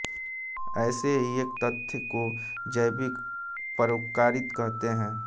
ऐसे ही एक तथ्य को जैविक परोपकारिता कहते हैं